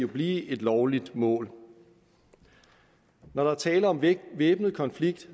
blive et lovligt mål når der er tale om en væbnet konflikt